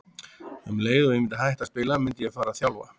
Um leið og ég myndi hætta að spila myndi ég fara að þjálfa.